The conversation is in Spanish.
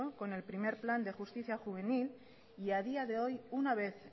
con el primero plan de justicia juvenil y a día de hoy una vez